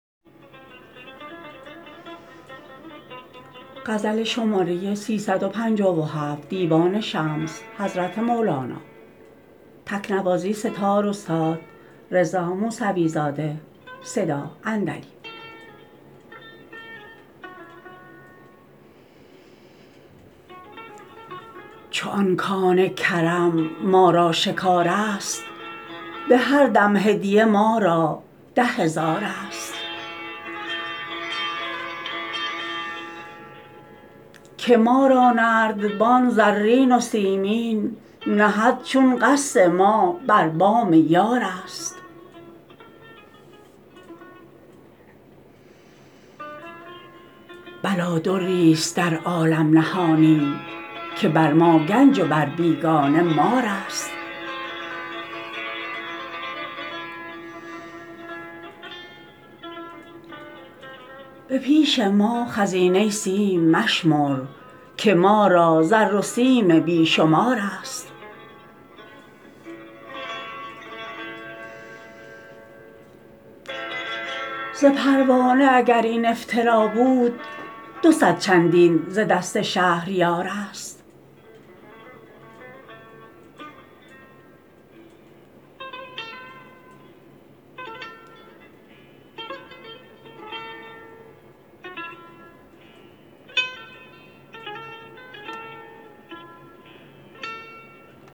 چو آن کان کرم ما را شکارست به هر دم هدیه ما را ده هزارست که ما را نردبان زرین و سیمین نهد چون قصد ما بر بام یارست بلادری ست در عالم نهانی که بر ما گنج و بر بیگانه مارست به پیش ما خزینه سیم مشمر که ما را زر و سیم بی شمارست ز پروانه اگر این افترا بود دو صد چندین ز دست شهریارست